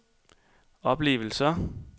oplevelser